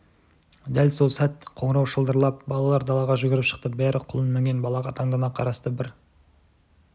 дәл сол сәт қоңырау шылдырап балалар далаға жүгіріп шықты бәрі құлын мінген балаға таңдана қарасты бір